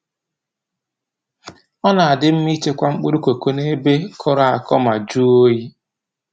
Ọ na-adị mma i chekwa mkpụrụ koko n'ebe kọrọ akọ ma jụọ oyi.